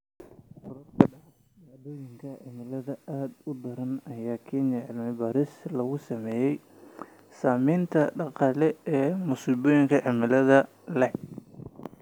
Korodhka dhacdooyinka cimilada aadka u daran ayaa keenaya cilmi-baadhis lagu sameeyo saamaynta dhaqaale ee masiibooyinka cimilada la xidhiidha.